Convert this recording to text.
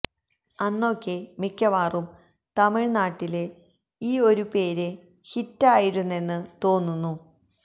അന്നൊക്കെ മിക്കവാറും തമിഴ്നാട്ടില് ഈ ഒരു പേര് ഹിറ്റ് ആയിരുന്നെന്ന് തോന്നുന്നു